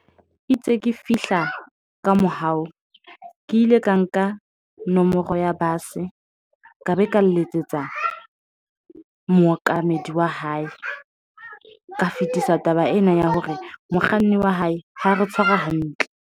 Itse ke fihla ka mohao ke ile ka nka nomoro ya bus, e ka be ka letsetsa mookamedi wa hae. Ka fetisa taba ena ya hore mokganni wa hae ha re tshwara hantle.